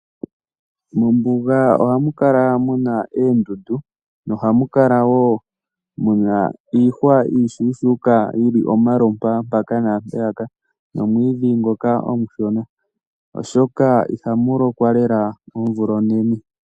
Mombuga oha mu kala muna oondundu nohamu kala wo mu na iihwa iishuushuuka yili omalompa mpaka naampeyaka nomwiidhi ngoka omushona, oshoka iha mu lokwa lela omvula onene.